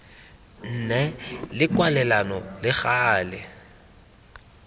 nne le kwalelano le gale